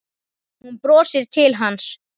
Hún brosir til hans.